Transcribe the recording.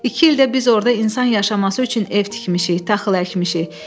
İki ildə biz orada insan yaşaması üçün ev tikmişik, taxıl əkmişik.